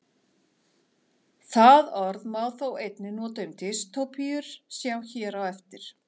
Það orð má þó einnig nota um dystópíur, sjá hér á eftir.